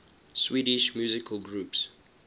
swedish musical groups